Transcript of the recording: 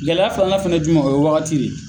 Gɛlɛya filanan fana ye jumɛn o ye wagati de ye